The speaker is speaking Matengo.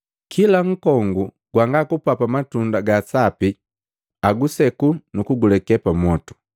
Kila nkongu gwanga kupapa matunda gaa sapi aguseku nukuguleke pamwotu.